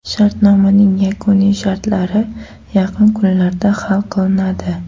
Shartnomaning yakuniy shartlari yaqin kunlarda hal qilinadi.